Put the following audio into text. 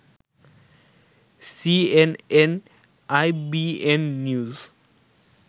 CNN-IBN news